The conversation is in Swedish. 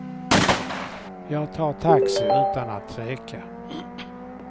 Jag tar taxi utan att tveka.